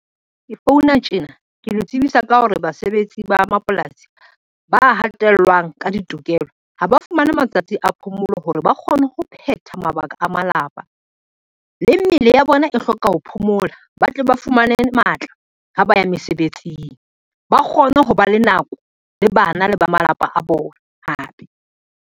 Ke founa tjena ke le tsebisa ka hore basebetsi ba mapolasi, ba hatellwang ka ditokelo ha ba fumane matsatsi a phomolo hore ba kgone ho phetha mabaka a malapa. Le mmele ya bona e hloka ho phomola ba tle ba fumane matla ha ba ya mesebetsing, ba kgone ho ba le nako le bana le ba malapa a bona hape.